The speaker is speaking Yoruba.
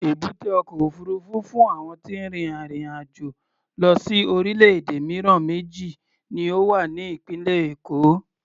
Èbúté ọkọ̀ òfuurufú fún àwọn tí ń rin ìrìn-àjò lọ sí orílẹ̀-èdè mìíràn méjì ni ó wà ní ìpínlẹ̀ Èkó.